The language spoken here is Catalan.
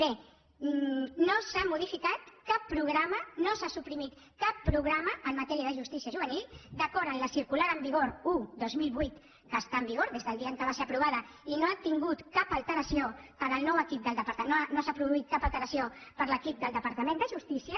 bé no s’ha modificat cap programa no s’ha suprimit cap programa en matèria de justícia juvenil d’acord amb la circular en vigor un dos mil vuit que està en vigor des del dia en què va ser aprovada i no s’ha produït cap alteració per l’equip del departament de justícia